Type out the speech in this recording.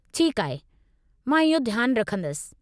ठीकु आहे। मां इहो ध्यानु रखंदसि।